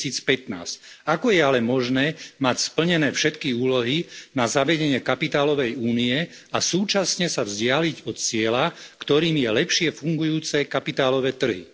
2015. Ako je ale možné mať splnené všetky úlohy na zavedenie kapitálovej únie a súčasne sa vzdialiť od cieľa, ktorým sú lepšie fungujúce kapitálové trhy.